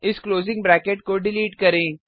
इस closing bracket को delete करें